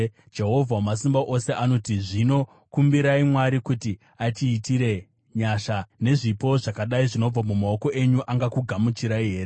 Jehovha Wamasimba Ose anoti, “Zvino kumbirai Mwari kuti atiitire nyasha. Nezvipo zvakadai zvinobva mumaoko enyu, angakugamuchirai here?”